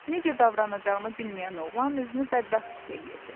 Necə davranacağını bilməyən oğlan özünü bədbəxt hiss eləyirdi.